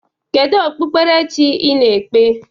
Kedu okpukpere chi ị na-ekpe?